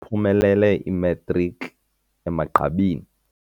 Uphumelele imatriki emagqabini.